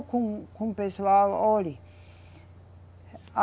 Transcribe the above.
Com, com o pessoal, olhe, a